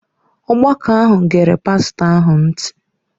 Ọgbakọ ahụ gere pastọ ahụ ntị.